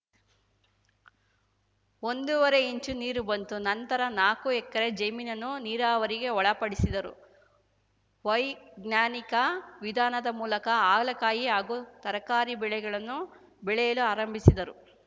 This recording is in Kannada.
ಒಂದೂವರೆ ಇಂಚು ನೀರು ಬಂತು ನಂತರ ನಾಲಕ್ಕು ಎಕರೆ ಜಮೀನನ್ನು ನೀರಾವರಿಗೆ ಒಳಪಡಿಸಿದರು ವೈಜ್ಞಾನಿಕ ವಿಧಾನದ ಮೂಲಕ ಹಾಗಲಕಾಯಿ ಹಾಗೂ ತರಕಾರಿ ಬೆಳೆಗಳನ್ನು ಬೆಳೆಯಲು ಆರಂಭಿಸಿದರು